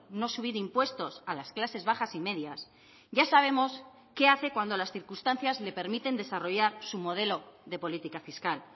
no subir impuestos a las clases bajas y medias ya sabemos qué hace cuando las circunstancias le permiten desarrollar su modelo de política fiscal